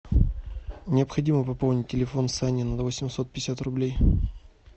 необходимо пополнить телефон сани на восемьсот пятьдесят рублей